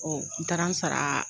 Ɔ n taara n sara